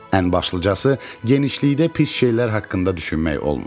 Ən başlıcası genişlikdə pis şeylər haqqında düşünmək olmur.